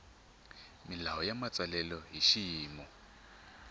milawu ya matsalelo hi xiyimo